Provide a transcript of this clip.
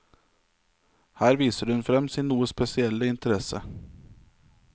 Her viser hun frem sin noe spesielle interesse.